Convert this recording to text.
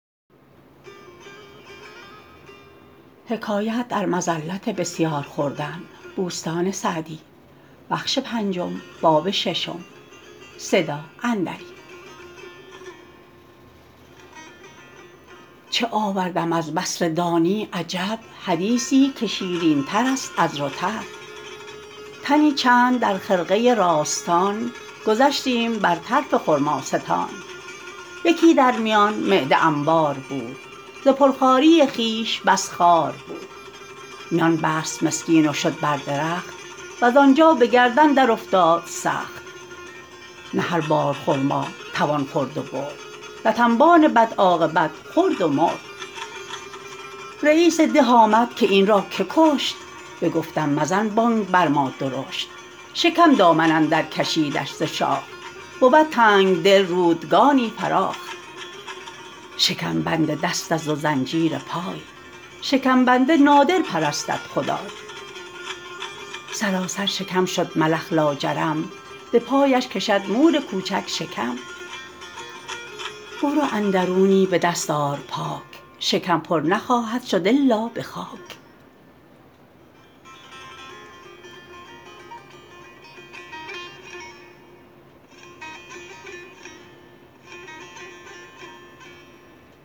چه آوردم از بصره دانی عجب حدیثی که شیرین تر است از رطب تنی چند در خرقه راستان گذشتیم بر طرف خرماستان یکی در میان معده انبار بود ز پر خواری خویش بس خوار بود میان بست مسکین و شد بر درخت وز آنجا به گردن در افتاد سخت نه هر بار خرما توان خورد و برد لت انبان بد عاقبت خورد و مرد رییس ده آمد که این را که کشت بگفتم مزن بانگ بر ما درشت شکم دامن اندر کشیدش ز شاخ بود تنگدل رودگانی فراخ شکم بند دست است و زنجیر پای شکم بنده نادر پرستد خدای سراسر شکم شد ملخ لاجرم به پایش کشد مور کوچک شکم برو اندرونی به دست آر پاک شکم پر نخواهد شد الا به خاک